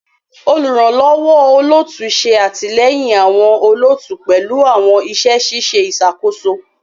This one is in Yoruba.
Oluranlọwọ olootu ṣe atilẹyin awọn olootu pẹlu awọn iṣẹ ṣiṣe iṣakoso